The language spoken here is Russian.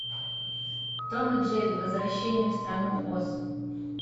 том и джерри возвращение в страну оз